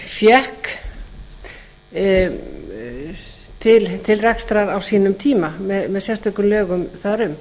fékk til rekstrar á sínum tíma með sérstökum lögum þar um